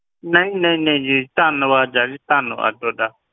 ਨਹੀਂ ਨਹੀਂ ਨਹੀਂ ਜੀ, ਧੰਨਵਾਦ ਹੈ ਜੀ ਧੰਨਵਾਦ ਤੁਹਾਡਾ।